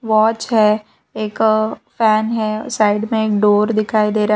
Watch है एक fan है साइड में एक डोर दिखाई दे रहा है।